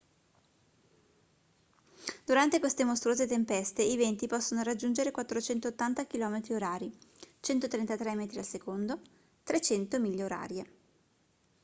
durante queste mostruose tempeste i venti possono raggiungere 480 km/h 133 m/s; 300 mph